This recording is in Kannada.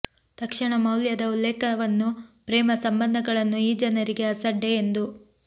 ತಕ್ಷಣ ಮೌಲ್ಯದ ಉಲ್ಲೇಖವನ್ನು ಪ್ರೇಮ ಸಂಬಂಧಗಳನ್ನು ಈ ಜನರಿಗೆ ಅಸಡ್ಡೆ ಎಂದು